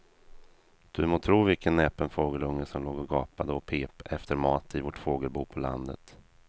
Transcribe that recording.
Du må tro vilken näpen fågelunge som låg och gapade och pep efter mat i vårt fågelbo på landet.